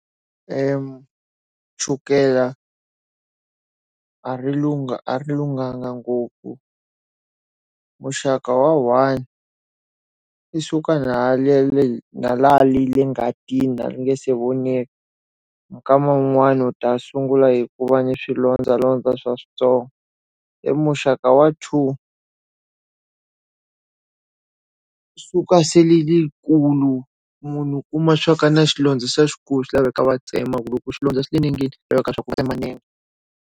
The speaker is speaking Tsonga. chukela a ri lunga a ri lunghanga ngopfu. Muxaka wa one, i suka na laha ngatini laha ri nga se vonaka. Minkama yin'wani u ta sungula hi ku va na swilondzalondza swa swintsongo. I muxaka wa two. suka se rili ri kulu munhu u kuma swa ku na xilondza se i xikulu swi laveka va tsema ku loko xilondza xi ri enengeni, swi laveka swa ku va tsema nenge.